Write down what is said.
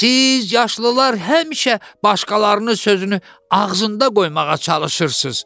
Siz yaşlılar həmişə başqalarını sözünü ağzında qoymağa çalışırsınız.